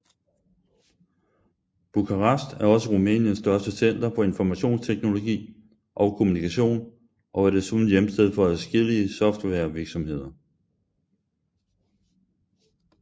Bukarest er også Rumæniens største center for informationsteknologi og kommunikation og er desuden hjemsted for adskillige softwarevirksomheder